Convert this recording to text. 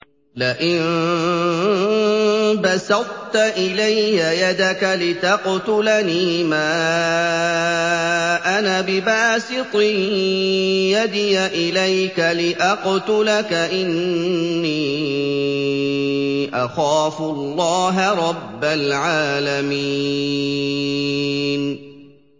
لَئِن بَسَطتَ إِلَيَّ يَدَكَ لِتَقْتُلَنِي مَا أَنَا بِبَاسِطٍ يَدِيَ إِلَيْكَ لِأَقْتُلَكَ ۖ إِنِّي أَخَافُ اللَّهَ رَبَّ الْعَالَمِينَ